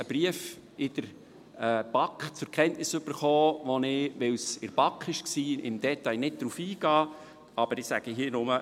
Wir haben in der BaK einen Brief zur Kenntnis erhalten, auf den ich, weil es in der BaK war, nicht im Detail eingehe, aber ich sage hier nur: